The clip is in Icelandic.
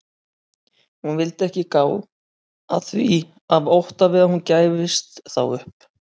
Hún vildi ekki gá að því af ótta við að hún gæfist þá upp.